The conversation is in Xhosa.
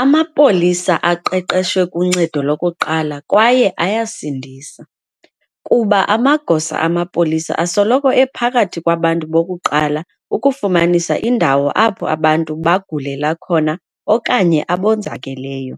Amapolisa aqeqeshwe kuncedo lokuqala kwaye ayasindisa, kuba amagosa amapolisa asoloko ephakathi kwabantu bokuqala ukufumanisa indawo apho abantu bagulela khona okanye abonzakeleyo,